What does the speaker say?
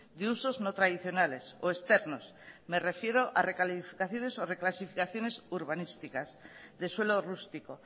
de usos no tradicionales o externos me refiero a recalificaciones o reclasificaciones urbanísticas de suelo rústico